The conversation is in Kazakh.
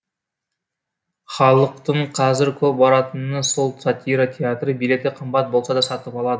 халықтың қазір көп баратыны сол сатира театры билеті қымбат болса да сатып алады